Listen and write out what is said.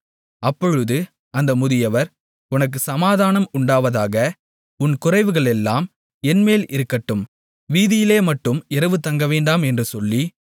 அப்பொழுது அந்த முதியவர் உனக்குச் சமாதானம் உண்டாவதாக உன் குறைவுகளெல்லாம் என்மேல் இருக்கட்டும் வீதியிலேமட்டும் இரவு தங்கவேண்டாம் என்று சொல்லி